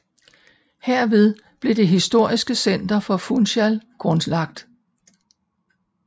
Herved blev det historiske center for Funcahl grundlagt